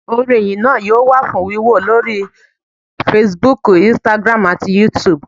Orin Ìyìn náa yóò wà fún wíwò lórí Fasibúùkù, "Instagram" àti yúutùbù